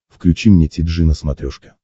включи мне ти джи на смотрешке